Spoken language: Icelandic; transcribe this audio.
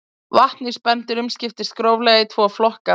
Vatn í spendýrum skiptist gróflega í tvo flokka.